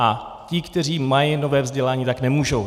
A ti, kteří mají nové vzdělání, tak nemůžou.